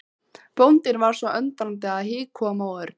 Bóndinn var svo undrandi að hik kom á Örn.